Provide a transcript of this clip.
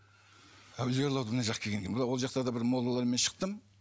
әулие аралауды мына жаққа келгеннен кейін мына ол жақтарда бір моллалармен шықтым